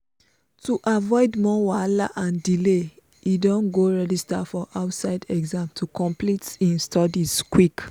to avoid more wahala and delay e don go register for outside exam to complete him studies quick.